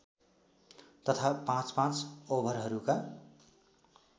तथा पाँचपाँच ओभरहरूका